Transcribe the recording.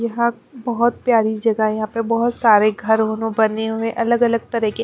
यहाँ एक बहुत प्यारी जगह यहाँ पे बहुत सारे घर ओ नो बने हुए अलग-अलग तरह के--